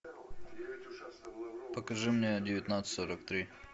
покажи мне девятнадцать сорок три